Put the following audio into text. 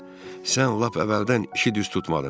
Sən lap əvvəldən işi düz tutmadın.